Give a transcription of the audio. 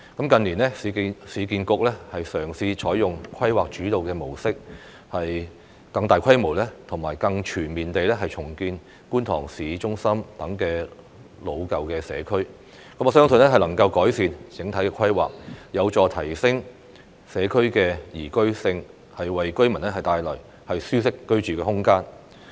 近年，市建局嘗試採用規劃主導模式，更大規模及更全面地重建觀塘市中心等老舊社區，我相信能夠改善整體規劃，有助提升社區的宜居性，為居民帶來舒適的居住空間。